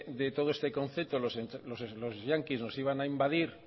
de todo este concepto los yanquis nos iban a invadir